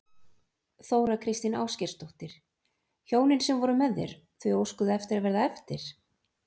Þóra Kristín Ásgeirsdóttir: Hjónin sem voru með þér, þau óskuðu eftir að verða eftir?